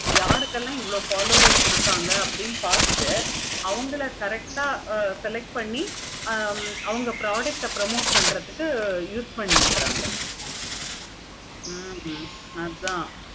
யாருக்கெல்லாம் இவ்வளோ followers இருக்காங்க. அப்படின்னு பார்த்துட்டு அவுங்கள correct ஆஹ் select பண்ணி அவங்க product ஆஹ் promote பண்ணி ஆமா correct பண்ணி அவங்க product ஆஹ் promote பண்றதுக்கு use பண்ணிக்கங்க. ஹம் அதான்